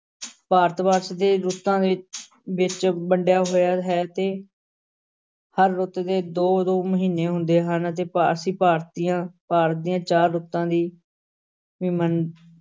ਭਾਰਤਵਰਸ਼ ਛੇ ਰੁੱਤਾਂ ਦੇ ਵਿਚ ਵੰਡਿਆ ਹੋਇਆ ਹੈ ਤੇ ਹਰ ਰੁੱਤ ਦੇ ਦੋ ਦੋ ਮਹੀਨੇ ਹੁੰਦੇ ਹਨ ਅਤੇ ਅਸੀਂ ਭਾਰਤੀਆਂ ਭਾਰਤ ਦੀਆਂ ਚਾਰ ਰੁੱਤਾਂ ਵੀ ਵੀ ਮੰਨ